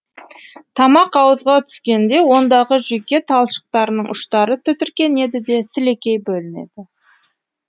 тамақ ауызға түскенде ондағы жүйке талшықтарының ұштары тітіркенеді де сілекей бөлінеді